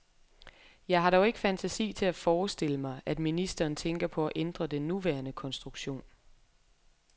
Jeg har dog ikke fantasi til at forestille mig, at ministeren tænker på at ændre den nuværende konstruktion.